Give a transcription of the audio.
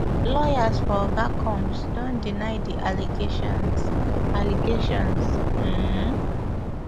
lawyers for oga combs don deny di allegations allegations um